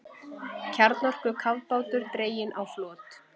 Kjarnorkukafbátur dreginn á flot